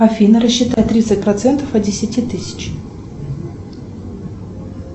афина рассчитай тридцать процентов от десяти тысяч